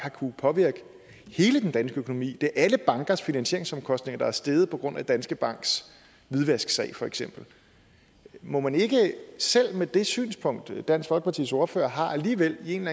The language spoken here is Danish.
kunnet påvirke hele den danske økonomi det er alle bankers finansieringsomkostninger der er steget på grund af danske banks hvidvasksag for eksempel må man ikke selv med det synspunkt dansk folkepartis ordfører har alligevel i en